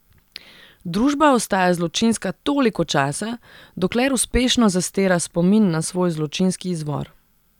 Družba ostaja zločinska toliko časa, dokler uspešno zastira spomin na svoj zločinski izvor.